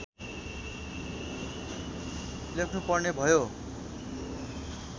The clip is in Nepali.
लेख्नु पर्ने भयो